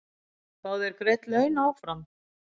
Fá þeir greidd laun áfram?